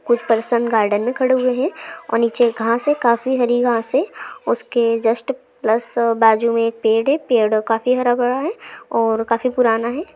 कुछ person garden मैं खड़े हुए है और नीचे घास हैकाफी हरी घास है उसके जस्ट प्लस बाजुमे एक पेड़ है पेड़ काफी हरा भरा है और काफी पुराना है।